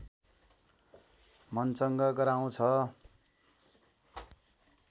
मन चंगा गराउँछ